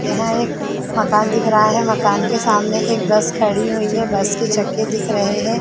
यहां एक मकान दिख रहा है मकान के सामने एक बस खड़ी हुई है बस के चक्के दिख रहे है।